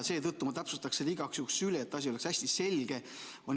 Seetõttu ma täpsustaksin selle igaks juhuks üle, et asi oleks hästi selge.